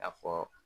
A fɔ